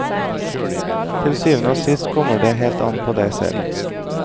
Til syvende og sist kommer det helt an på deg selv.